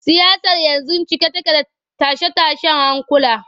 Siyasar yanzu cike take da tashe-tashen hankula.